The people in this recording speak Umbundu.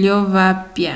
lyovapya